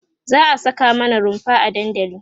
za'a Saka mana runfa a dandali